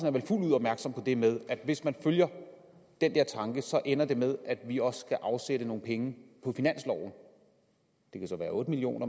er vel fuldt ud opmærksom på det med at hvis man følger den der tanke ender det med at vi også skal afsætte nogle penge på finansloven det kan så være otte million